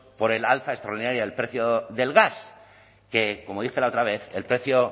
por el alza extraordinaria del precio del gas que como dije la otra vez el precio